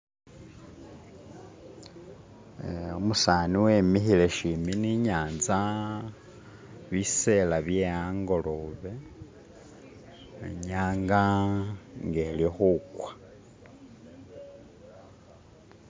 Umusani wemihile shimbi ni nyatsa bisela bye hangolobe inyanga ngelikhukwa